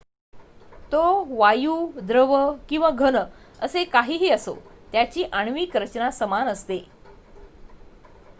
तो वायू द्रव किंवा घन असे काहीही असो त्याची आण्विक रचना समान असते